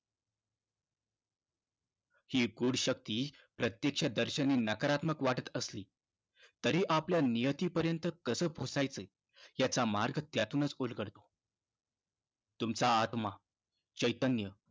ही गूढ शक्ती प्रत्यक्षदर्शनी नकारात्मक वाटत असली, तरी आपल्या नियतीपर्यंत कसं पोहोचायचं याचा मार्ग त्यातूनच उलगडतो. तुमचा आत्मा, चैतन्य